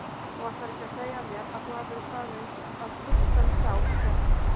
Þú ætlar ekki að segja mér að þú hafir farið að skipta við þá hélt